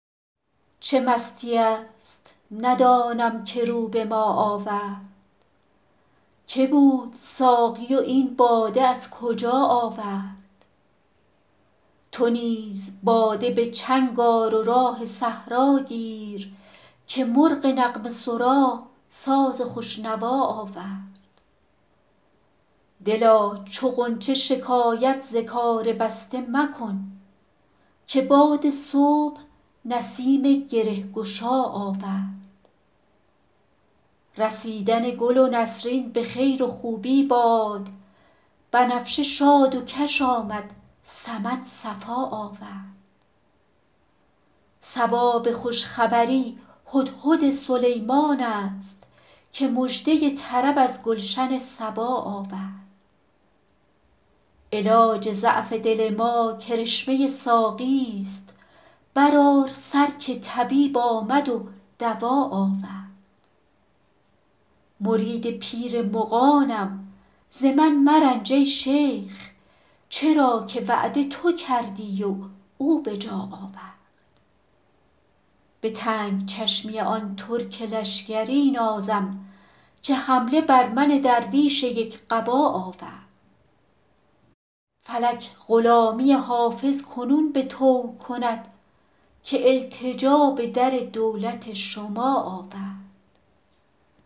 چه مستیی است ندانم که رو به ما آورد که بود ساقی و این باده از کجا آورد چه راه می زند این مطرب مقام شناس که در میان غزل قول آشنا آورد تو نیز باده به چنگ آر و راه صحرا گیر که مرغ نغمه سرا ساز خوش نوا آورد دلا چو غنچه شکایت ز کار بسته مکن که باد صبح نسیم گره گشا آورد رسیدن گل نسرین به خیر و خوبی باد بنفشه شاد و کش آمد سمن صفا آورد صبا به خوش خبری هدهد سلیمان است که مژده طرب از گلشن سبا آورد علاج ضعف دل ما کرشمه ساقیست برآر سر که طبیب آمد و دوا آورد مرید پیر مغانم ز من مرنج ای شیخ چرا که وعده تو کردی و او به جا آورد به تنگ چشمی آن ترک لشکری نازم که حمله بر من درویش یک قبا آورد فلک غلامی حافظ کنون به طوع کند که التجا به در دولت شما آورد